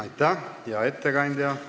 Aitäh, hea ettekandja!